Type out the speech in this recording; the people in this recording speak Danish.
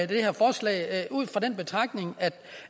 det her forslag ud fra den betragtning